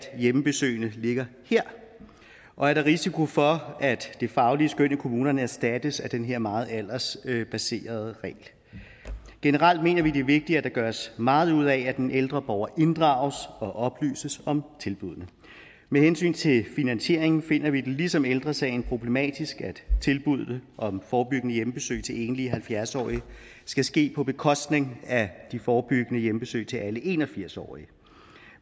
hjemmebesøgene ligger her og er der risiko for at det faglige skøn i kommunerne erstattes af den her meget aldersbaserede regel generelt mener vi at det er vigtigt at der gøres meget ud af at den ældre borger inddrages og oplyses om tilbuddene med hensyn til finansieringen finder vi det ligesom ældre sagen problematisk at tilbuddene om forebyggende hjemmebesøg til enlige halvfjerds årige skal ske på bekostning af de forebyggende hjemmebesøg til alle en og firs årige